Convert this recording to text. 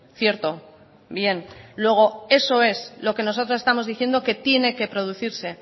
cierto bien luego eso es lo que nosotros estamos diciendo que tiene que producirse